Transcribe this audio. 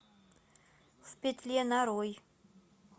в петле нарой